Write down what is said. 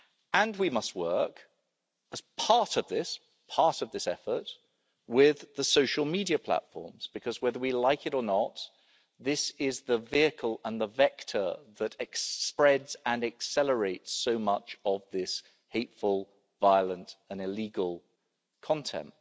And we must work as part of this effort with the social media platforms because, whether we like it or not, this is the vehicle and the vector that spreads and accelerates so much of this hateful, violent and illegal content.